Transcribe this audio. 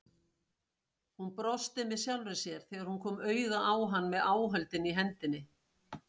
Hún brosti með sjálfri sér þegar hún kom auga á hann með áhöldin í hendinni.